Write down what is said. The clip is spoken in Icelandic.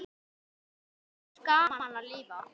Þá er gaman að lifa!